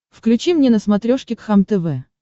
включи мне на смотрешке кхлм тв